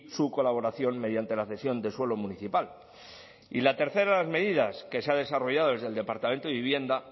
su colaboración mediante la cesión de suelo municipal y la tercera de las medidas que se ha desarrollado desde el departamento de vivienda